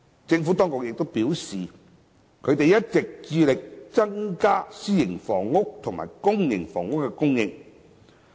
政府當局表示，一直致力增加私營房屋及公營房屋的供應。